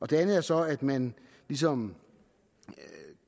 det andet er så at man ligesom